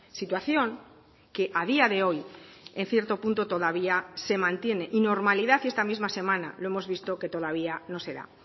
situación que a día de hoy en cierto punto todavía se mantiene y normalidad y esta misma semana lo hemos visto que todavía no se da